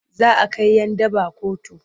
Za a kai 'yan daba kotu.